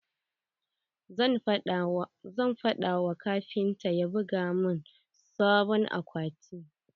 Zan faɗa wa kafinta ya buga mun sabon akwati.